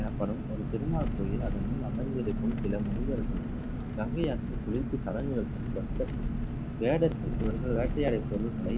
எனப்படும் ஒரு திருமால் கோவில் அதனுள் அமர்ந்திருக்கும் சில முனிவர்கள் கங்கை ஆற்றில் குளித்து பக்தர்கள் வேடர்கள் இவர்கள் வேட்டையாட பொருட்களை